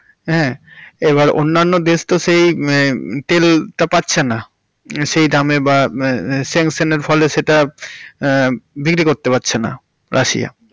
হাঁ এই বার অন্যান্য দেশ তো সেই মে তেলটা পাচ্ছেন না, সেই দামে বা সানক্শনের ফলে সেটা বিক্রি করতে পারছেনা রাশিয়া।